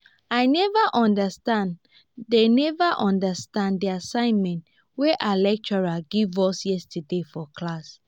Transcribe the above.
i never understand the never understand the assignment wey our lecturer give us yesterday for class